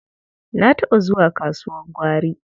Na taɓa zuwa kasuwar gwari.